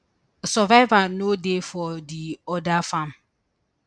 survivor no dey for di oda farm